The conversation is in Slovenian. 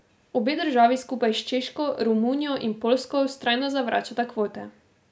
Obe državi skupaj s Češko, Romunijo in Poljsko vztrajno zavračata kvote.